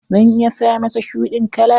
Zan iya sa masa shuɗin kala.